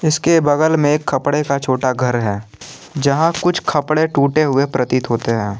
इसके बगल में खपड़े का छोटा घर है जहां कुछ खपड़े टूटे हुए प्रतीत होते हैं।